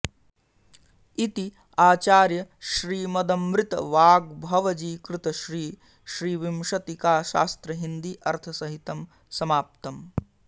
इति आचार्य श्रीमदमृत वाग्भवजी कृत श्री श्रीविंशतिकाशास्त्र हिन्दी अर्थसहितं समाप्तम्